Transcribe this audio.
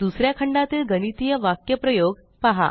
दुसऱ्या खंडातील गणितीय वाक्यप्रयोग पहा